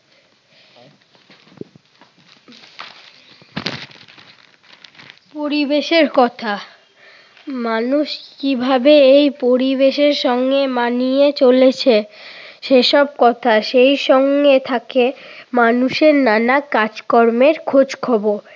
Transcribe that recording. পরিবেশের কথা। মানুষ কিভাবে এই পরিবেশের সঙ্গে মানিয়ে চলেছে সেসব কথা। সেই সঙ্গে মানুষের নানা কাজ-কর্মের খোঁজখবর।